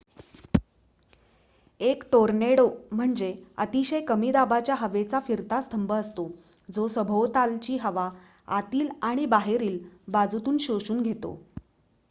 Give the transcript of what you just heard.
एक टोर्नेडो म्हणजे अतिशय कमी दाबाच्या हवेचा फिरता स्तंभ असतो जो सभोवतालची हवा आतील आणि बाहेरील बाजूतून शोषून घेतो